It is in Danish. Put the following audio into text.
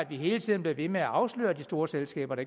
vi hele tiden bliver ved med at afsløre de store selskaber